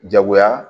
Jagoya